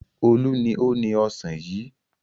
Olú ni ó ni ọ̀sán yìí.